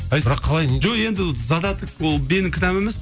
ай бірақ калай жоқ енді задаток ол менің кінәм емес